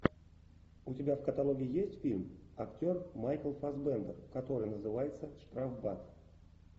у тебя в каталоге есть фильм актер майкл фассбендер который называется штрафбат